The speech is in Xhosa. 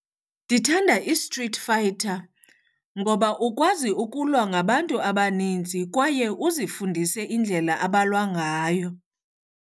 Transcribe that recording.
Ndithanda iStreet Fighter ngoba ukwazi ukulwa ngabantu abaninzi kwaye uzifundise indlela abalwa ngayo.